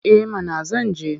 Eh mana zan je.